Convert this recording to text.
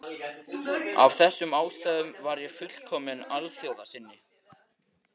Af þessum ástæðum var ég fullkominn alþjóðasinni.